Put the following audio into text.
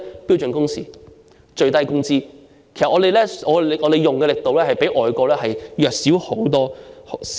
標準工時和最低工資，但我們的力度卻遠較外國弱小。